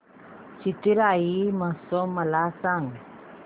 चिथिराई महोत्सव मला सांग